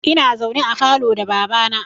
Ina zaune a falo da baba na